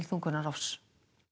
þungunarrofs